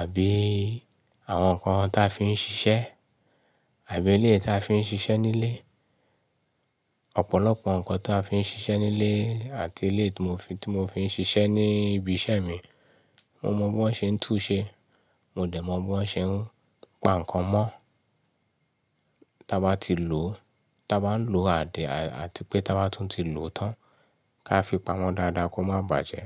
Àbí àwọn nǹkan táa fi ń ṣiṣẹ́? Àbí ilé ta fi ń ṣiṣẹ́ nílé? Ọ̀pọ̀lọpọ̀ nǹkan táa fi ń ṣiṣẹ́ nílé àti eléyìí tí mo fi ń ṣiṣẹ́ ní ibi iṣẹ́ mi. Mo mọ bí wọ́n ṣe ń tún-un ṣe. Mo dẹ̀ mọ bí wọ́n ṣe ń pa nǹkan mọ́. Táa bá ti lò ó, táa bá ń lòó àá de, àti pé ta bá tún ti lò ó tán. Ka fi pa mọ́ dáadáa kó má bàjẹ́.